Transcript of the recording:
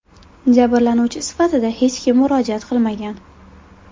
Jabrlanuvchi sifatida hech kim murojaat qilmagan.